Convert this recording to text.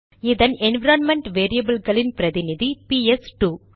இதன் என்விரான்மென்ட் வேரியபில்களின் பிரதிநிதி பிஎஸ் இரண்டுPS2